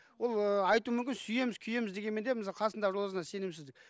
ол ыыы айтуы мүмкін сүйеміз күйеміз дегенмен де қасындағы жолдасына сенімсіздік